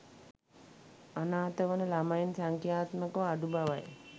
අනාථවන ළමයින් සංඛ්‍යාත්මකව අඩු බවයි.